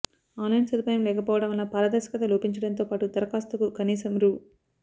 online సదు పాయం లేకపోవడం వలన పారదర్శకత లోపించడంతోపాటు దరఖాస్తుకు కనీసం రూ